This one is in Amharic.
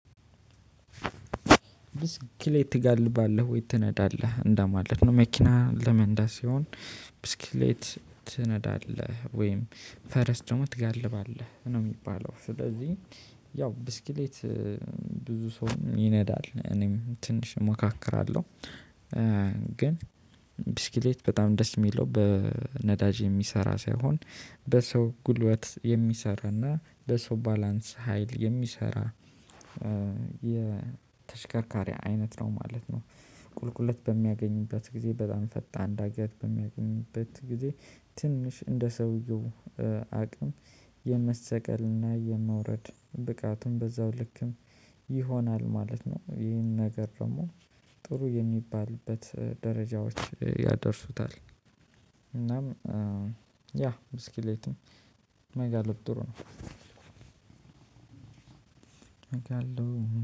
ብስክሌት ትጋልባለህ ወይ ትነዳለህ እንደማለት ነው መኪና ለመንዳት ሲሆን ብስክሌት ትነዳለህ ወይም ፈረስ ደግሞ ትጋልባለህ ነው የሚባለው። ስለዚህ ያው ብስክሌት ብዙ ሰው ይነዳል እኔም ትንሽ እሞካክራለሁ። ግን ብስክሌት በጣም ደስ የሚለው በነዳጅ የሚሰራ ሳይሆን በሰው ጉልበት የሚሰራና በሰው ባላንስ ሀይል የሚሰራ። የተሽከርካሪ አይነት ነው ማለት ነው። ቁልቁለት በሚያገኝበት ጊዜ በጣም ፈጣን ዳገት በሚያገኝበት ጊዜ ትንሽ እንደ ሰውየው አቅም የመሰቀልና የመውረድ ብቃቱን በዛው ልክም ይሆናል ማለት ነው። ይህን ነገር ደግሞ ጥሩ የሚባልበት ደረጃዎች ያደርሱታል። እናም ያ ብስክሌት መጋለብ ጥሩ ነው። መጋለብ